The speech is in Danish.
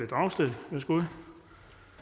dragsted værsgo